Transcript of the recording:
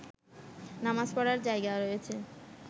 নামাজ পড়ার জায়গা রয়েছে